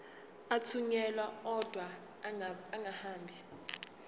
athunyelwa odwa angahambi